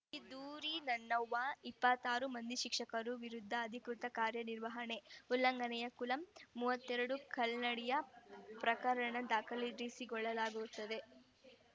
ಈ ದೂರಿ ನನ್ನವ್ವ ಇಪ್ಪತ್ತ್ ರು ಮಂದಿ ಶಿಕ್ಷಕರ ವಿರುದ್ಧ ಅಧಿಕೃತ ಕಾರ್ಯ ನಿರ್ವಹಣೆ ಉಲ್ಲಂಘನೆ ಕುಲಂ ಮೂವತ್ತ್ ಎರಡು ಕಲ್ಲ್ ನಡಿ ಪ್ರಕರಣ ದಾಖಲಿಸಿಕೊಳ್ಳಲಾಗಿದೆ